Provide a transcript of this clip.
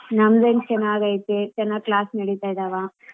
ನಮ್ಮ್ದೇನ್ ಚೆನ್ನಾಗೈತೆ ಚೆನ್ನಾಗ್ class ನಡೀತಾ ಇದಾವ.